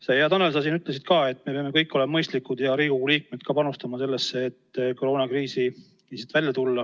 Sa, hea Tanel, ütlesid, et me kõik peame olema mõistlikud ja ka Riigikogu liikmetena panustama sellesse, et koroonakriisist välja tulla.